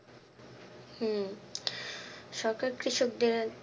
হম সরকার কৃষকদের